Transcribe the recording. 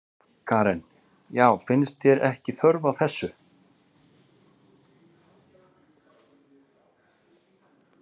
Karen: Já, finnst þér ekki þörf á þessu?